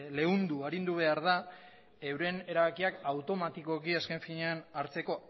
leundu arindu behar da euren erabakiak automatikoki azken finean hartzeko